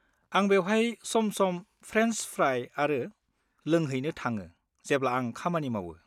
आं बेवहाय सम-सम फ्रेन्स फ्राइ आरो लोंहैनो थाङो जेब्ला आं खामानि मावो।